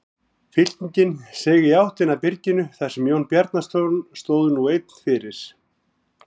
Fylkingin seig í áttina að byrginu þar sem Jón Bjarnason stóð nú einn fyrir.